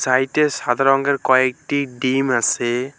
সাইটে সাদা রঙের কয়েকটি ডিম আসে।